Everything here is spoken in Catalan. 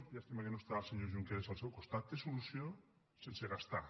llàstima que no està el senyor junqueras al seu costat té solució sense gastar